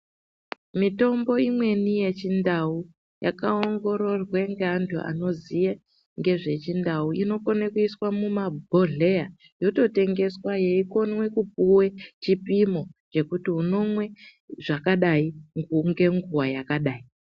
Mitombo imweni yechindau, yakaongororwe ngeantu anoziye ngezvechindau ,inokone kuiswe mumabhodhleya yototengeswa yeikonwe kupuwe chipimo chekuti, unomwe zvakadai , ngenguwa yakadai.